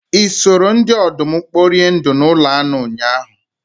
Ị soro ndị ọdụm kporie ndụ n'ụlọ anụ ụnyahụ?